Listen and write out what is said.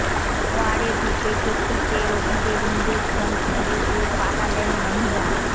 ওয়ার্ডে ঢুকে চকিতে রোগীদের ইঞ্জেকশন ফুঁড়ে দিয়ে পালালেন মহিলা